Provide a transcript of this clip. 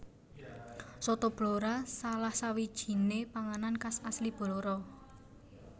Soto Blora salah sawijine panganan khas asli Blora